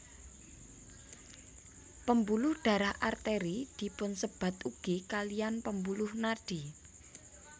Pembuluh darah Arteri dipunsebat ugi kaliyan pembuluh nadi